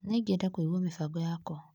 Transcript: Nĩ ingĩenda kũigua mĩbango yakwa.